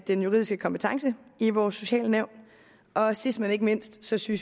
den juridiske kompetence i vores socialnævn og sidst men ikke mindst synes vi